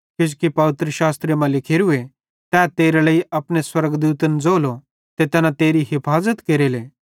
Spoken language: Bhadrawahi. किजोकि पवित्रशास्त्रे मां लिखोरूए तै तेरे लेइ अपने स्वर्गदूतन ज़ोलो ते तैना तेरी हफाज़त केरेले